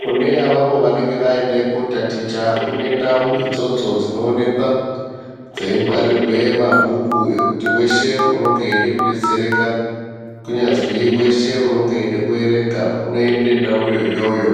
Kune avavo vanenge vaende kotaticha, kune ndau idzodzo dzinoonekwa dzeingwarirwe mabhuku, ekuti weshe unonge eide kudetsereka, kunyazi weshe unenge eide kuerenga, unoende ndauyo iyoyo,